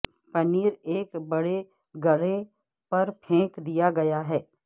پنیر ایک بڑے گرے پر پھینک دیا گیا ہے